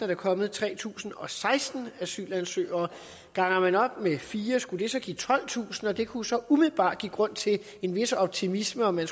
der kommet tre tusind og seksten asylansøgere ganger man op med fire skulle det give tolvtusind det kunne så umiddelbart give grund til en vis optimisme og man